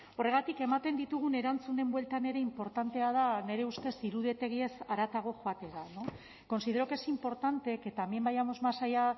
horregatik ematen ditugun erantzunen bueltan ere inportantea da nire ustez iruditegiez haratago joatea considero que es importante que también vayamos más allá